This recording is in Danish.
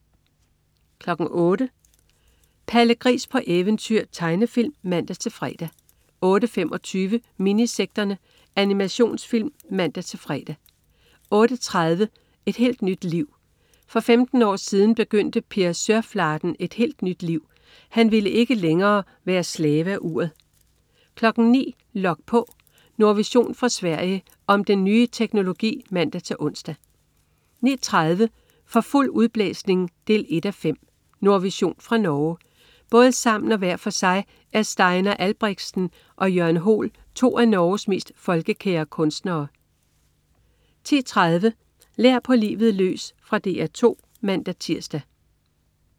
08.00 Palle Gris på eventyr. Tegnefilm (man-fre) 08.25 Minisekterne. Animationsfilm (man-fre) 08.30 Et helt nyt liv. For 15 år siden begyndte Per Sørflaten et helt nyt liv. Han ville ikke længere være slave af uret 09.00 Log på. Nordvision fra Sverige. Om den nye teknologi (man-ons) 09.30 For fuld udblæsning 1:5 . Nordvision fra Norge. Både sammen og hver for sig er Steinar Albrigsten og Jørn Hoel to af Norges mest folkekære kunstnere 10.30 Lær på livet løs. Fra DR 2 (man-tirs)